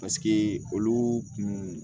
Paseke olu kun